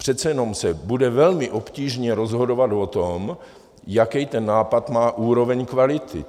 Přece jenom se bude velmi obtížně rozhodovat o tom, jakou ten nápad má úroveň kvality.